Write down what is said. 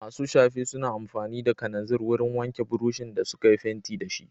Masu shafe suna amfani da kananzir wurin wanke burushin da suka yi fenti da shi.